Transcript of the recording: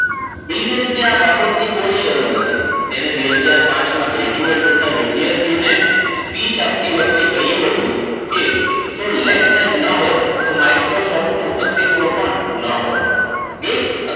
Bill ગેટ્સને આ બાબતની કોઈ શરમ ન હતી. તેને બે હજાર પાંચમાં ગ્રેજ્યુએટ થતા વિદ્યાર્થીઓને સ્પીચ આપતી વખતે કહ્યું હતું. કે જો lake site ન હોત તો માઈક્રોસોફ્ટ નું અસ્તિત્વ પણ ન હોત. ગેટ્સ